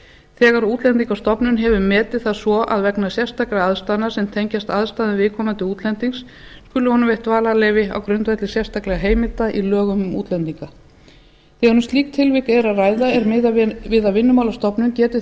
þegar útlendingastofnun hefur metið það svo að vegna sérstakra aðstæðna sem tengjast aðstæðum viðkomandi útlendings skuli honum veitt dvalarleyfi á grundvelli sérstakra heimilda í lögum um útlendinga þegar um slík tilvik er að ræða er miðað við að vinnumálastofnun geti